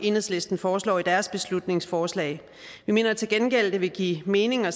enhedslisten foreslår i deres beslutningsforslag vi mener til gengæld at det vil give mening at